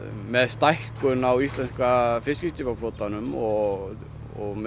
með stækkun á íslenska fiskiskipaflotanum og með